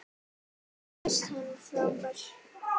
Mér finnst hann frábær.